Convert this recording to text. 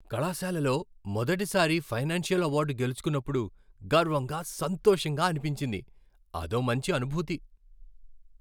కళాశాలలో మొదటి సారి ఫైనాన్సియల్ అవార్డు గెలుచుకున్నపుడు గర్వంగా, సంతోషంగా అనిపించింది, అదో మంచి అనుభూతి.